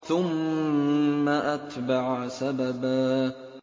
ثُمَّ أَتْبَعَ سَبَبًا